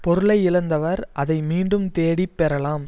பொருளை இழந்தவர் அதனை மீண்டும் தேடி பெறலாம்